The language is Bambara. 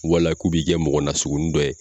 Wala k'u b'i kɛ mɔgɔ nasugunin dɔ ye!